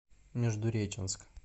междуреченск